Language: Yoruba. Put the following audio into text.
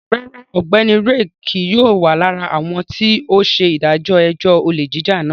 Rárá, Ọgbẹni Ray kii yóò wa lara awọn ti o ṣe idajọ ẹjọ ole jija náà